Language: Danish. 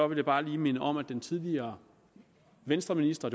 vil jeg bare lige minde om at den tidligere venstreminister